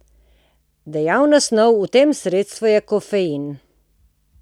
Dejavna snov v tem sredstvu je kofein.